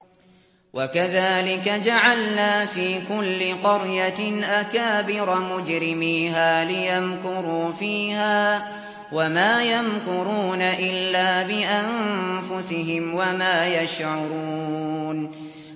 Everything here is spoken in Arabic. وَكَذَٰلِكَ جَعَلْنَا فِي كُلِّ قَرْيَةٍ أَكَابِرَ مُجْرِمِيهَا لِيَمْكُرُوا فِيهَا ۖ وَمَا يَمْكُرُونَ إِلَّا بِأَنفُسِهِمْ وَمَا يَشْعُرُونَ